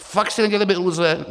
Fakt si nedělejme iluze.